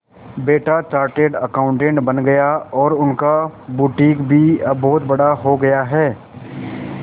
बेटा chartered accountant बन गया और उनका बुटीक भी अब बहुत बड़ा हो गया है